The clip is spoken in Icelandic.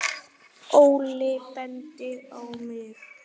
Óli bendir á mig